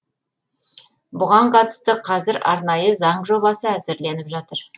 бұған қатысты қазір арнайы заң жобасы әзірленіп жатыр